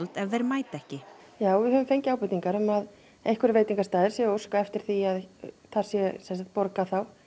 ef þeir mæta ekki já við höfum fengið ábendingar um að einhverjir veitingastaðir séu að óska eftir því að það sé borgað